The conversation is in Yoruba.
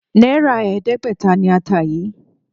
Náírà ẹ̀ẹ́dẹ́gbẹ̀ta ni ata yìí.